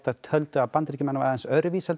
töldu að Bandaríkjamenn væru aðeins öðruvísi en